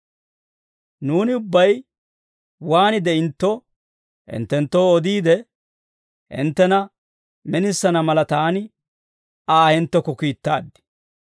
Nuuni ubbay waan de'intto hinttenttoo odiide, hinttena minisana mala, taani Aa hinttekko kiittaad.